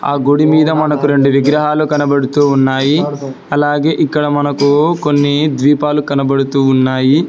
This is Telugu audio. ఆ గుడి మీద మనకు రెండు విగ్రహాలు కనబడుతూ ఉన్నాయి అలాగే ఇక్కడ మనకు కొన్ని ద్వీపాలు కనబడుతూ ఉన్నాయి